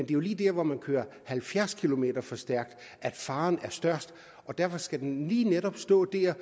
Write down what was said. jo lige der hvor man kører halvfjerds kilometer for stærkt at faren er størst og derfor skal den lige netop stå der